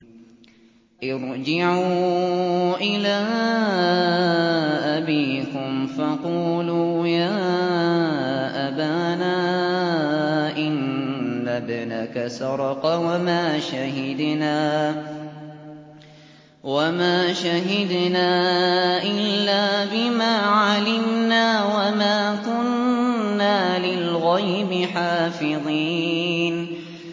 ارْجِعُوا إِلَىٰ أَبِيكُمْ فَقُولُوا يَا أَبَانَا إِنَّ ابْنَكَ سَرَقَ وَمَا شَهِدْنَا إِلَّا بِمَا عَلِمْنَا وَمَا كُنَّا لِلْغَيْبِ حَافِظِينَ